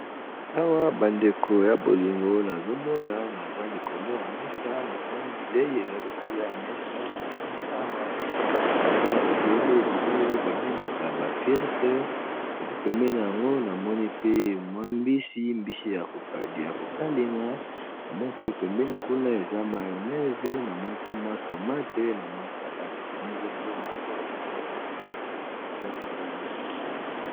Awa ba ndeko ya bolingo nazomona eza likolo ya mesa, namoni bilei eza likolo ya mesa namoni awa eza bilei oyo ba bengaka ba frite yango namoni pe na mbisi ya kokalinga namoni pe pemene kuna eza mayonnaise ,namoni pe tomate na salade eza biloko moko ya kitoko mpenza.